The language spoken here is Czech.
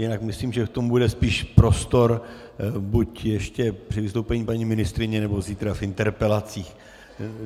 Jinak myslím, že k tomu bude spíše prostor buď ještě při vystoupení paní ministryně nebo zítra v interpelacích.